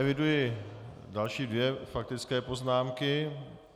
Eviduji další dvě faktické poznámky.